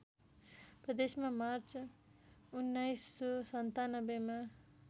प्रदेशमा मार्च १९९७ मा